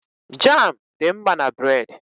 Jám dị mma na bréd